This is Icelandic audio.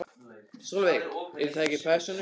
Sólveig: Eru það ekki persónuupplýsingar?